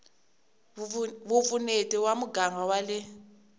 vupfuneti va muganga wa le